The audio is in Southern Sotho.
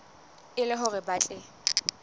e le hore ba tle